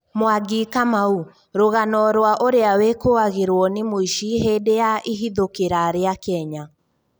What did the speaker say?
Mwangi Kamau: Rũgano rwa ũria wĩkũagĩrwo nĩ mũici hindi ya ihithũkira ria Kenya